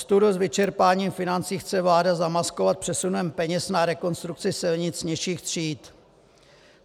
Ostudu s vyčerpáním financí chce vláda zamaskovat přesunem peněz na rekonstrukce silnic nižších tříd.